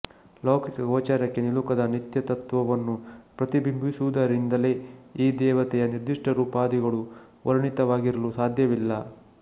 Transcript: ಲೌಕಿಕ ಗೋಚರಕ್ಕೆ ನಿಲುಕದ ನಿತ್ಯತತ್ತ್ವವನ್ನು ಪ್ರತಿಬಿಂಬಿಸುವುದರಿಂದಲೇ ಈ ದೇವತೆಯ ನಿರ್ದಿಷ್ಟರೂಪಾದಿಗಳು ವರ್ಣಿತವಾಗಿರಲು ಸಾಧ್ಯವಿಲ್ಲ